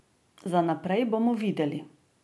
Za naprej bomo videli.